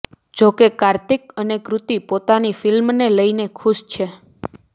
જો કે કાર્તિક અને કૃતિ પોતાની ફિલ્મને લઇને ખુશ છે